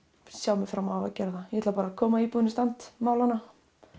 sjá fram á að gera það ég ætla bara að koma íbúðinni í stand mála hana